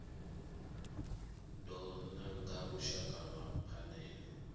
do nanga lushaka lwa phanele